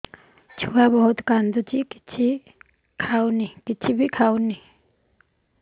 ଛୁଆ ବହୁତ୍ କାନ୍ଦୁଚି କିଛିବି ଖାଉନି